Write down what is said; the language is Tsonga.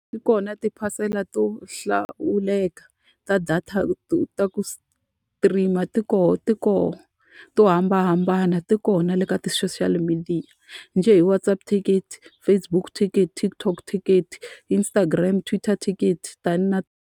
Yi kona tiphasela to hlawuleka ta data ta ku stream-a ti kona ti kona to hambanahambana, ti kona le ka ti-social media. Njhe hi WhatsApp ticket, Facebook ticket, TikTok ticket, Instagram, Twitter ticket tani na.